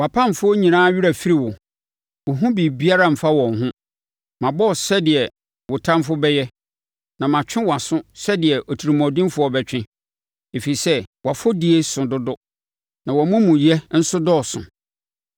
Wʼapamfoɔ nyinaa werɛ afiri wo; wo ho biribiara mfa wɔn ho. Mabɔ wo sɛdeɛ wo ɔtamfoɔ bɛyɛ na matwe wʼaso sɛdeɛ otirimuɔdenfoɔ bɛtwe, ɛfiri sɛ wʼafɔdie so dodo na wʼamumuyɛ nso dɔɔso.